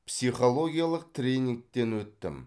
психологиялық тренингтен өттім